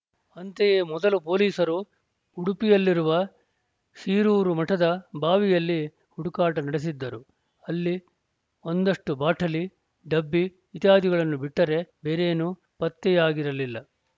ಅಂತೆಯೇ ಮೊದಲು ಪೊಲೀಸರು ಉಡುಪಿಯಲ್ಲಿರುವ ಶಿರೂರು ಮಠದ ಬಾವಿಯಲ್ಲಿ ಹುಡುಕಾಟ ನಡೆಸಿದ್ದರು ಅಲ್ಲಿ ಒಂದಷ್ಟುಬಾಟಲಿ ಡಬ್ಬಿ ಇತ್ಯಾದಿಗಳನ್ನು ಬಿಟ್ಟರೇ ಬೇರೆನೂ ಪತ್ತೆಯಾಗಿರಲಿಲ್ಲ